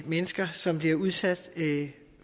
mennesker som bliver udsat